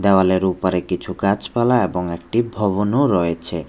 দেওয়ালের ওপারে কিছু গাছপালা এবং একটি ভবনও রয়েছে।